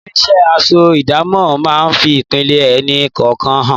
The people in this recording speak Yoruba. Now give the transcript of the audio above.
Nínú isẹ́, aṣọ idamo máa ń fi ipele ẹni kọ̀ọ̀kan hàn.